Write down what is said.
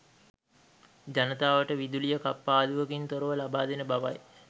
ජනතාවට විදුලිය කප්පාදුවකින් තොරව ලබාදෙන බවයි.